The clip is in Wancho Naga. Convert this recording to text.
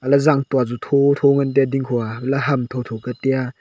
alah e zang tua chu thotho ngan taiya dingkho a alah ham tho tho ka taiya.